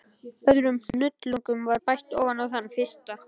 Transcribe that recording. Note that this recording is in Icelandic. Öðrum hnullung var bætt ofan á þann fyrsta.